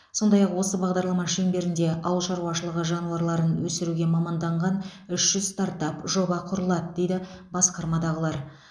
сондай ақ осы бағдарлама шеңберінде ауыл шаруашылығы жануарларын өсіруге маманданған үш жүз стартап жоба құрылады дейді басқармадағылар